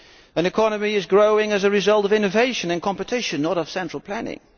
An economy grows as a result of innovation and competition, not of central planning.